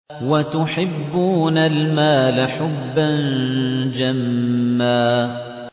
وَتُحِبُّونَ الْمَالَ حُبًّا جَمًّا